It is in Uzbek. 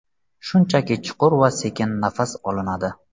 Shunchaki chuqur va sekin nafas olinadi.